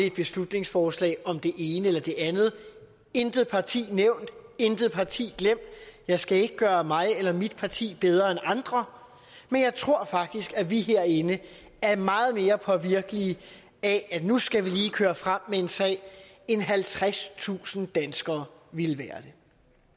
et beslutningsforslag om det ene eller det andet intet parti nævnt intet parti glemt jeg skal ikke gøre mig eller mit parti bedre end andre men jeg tror faktisk at vi herinde er meget mere påvirkelige af at nu skal vi lige køre frem med en sag end halvtredstusind danskere ville være det